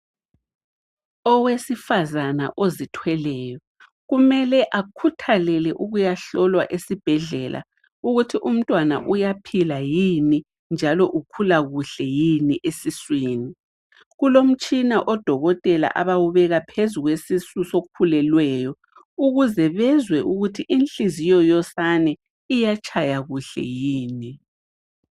Owesifazana ozithweleyo kumele akhuthalele ukuyahlolwa esibhedlela ukuthi umntwana uyaphila yini njalo ukhula kuhle yini esiswini. Kulomtshina odokotela abawubeka phezu kwesisu sokhulelweyo ukuze bezwe ukuthi inhliziyo yosane iyatshaya kuhle yini.